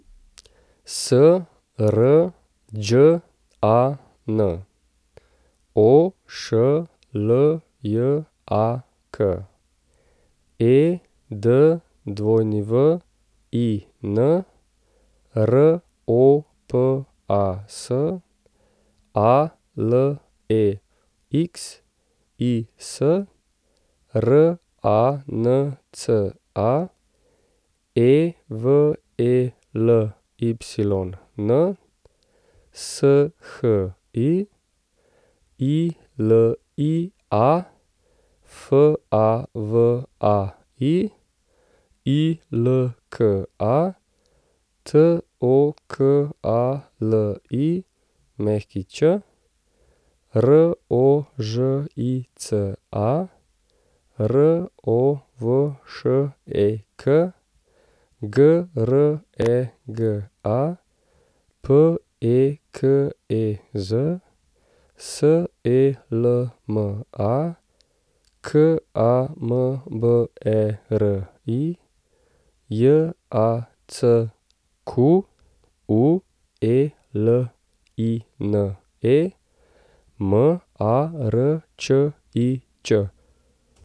Srđan Ošljak, Edwin Ropas, Alexis Ranca, Evelyn Shi, Ilia Favai, Ilka Tokalić, Rožica Rovšek, Grega Pekez, Selma Kamberi, Jacqueline Marčič.